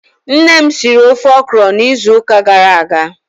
Nne m siri ofe ọkrọ n'izu uka gara aga.